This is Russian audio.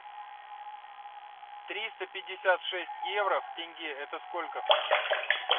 триста пятьдесят шесть евро в тенге это сколько